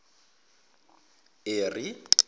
eri